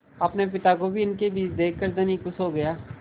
अपने पिता को भी इनके बीच देखकर धनी खुश हो गया